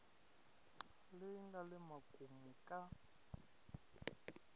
leyi nga le makumu ka